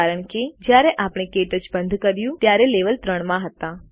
કારણ કે જયારે આપણે ક્ટચ બંધ કર્યું હતું ત્યારે લેવલ 3 માં હતા